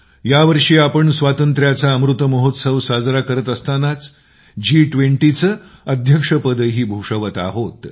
या वर्षी आपण स्वातंत्र्याचा सुवर्णमहोत्सव साजरा करत असतानाच G20 चे अध्यक्षपदही भूषवत आहोत